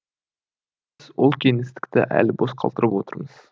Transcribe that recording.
ол кеңістікті әлі бос қалдырып отырмыз